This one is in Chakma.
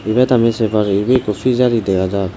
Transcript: ibet ami sey pari ibey ikko pijari dega jar.